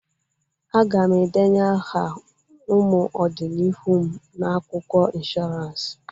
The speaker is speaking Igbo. Aga m endenye aha ụmụ ọdi n'ihu m na akwụkwọ ịnshọransị